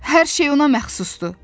Hər şey ona məxsusdur.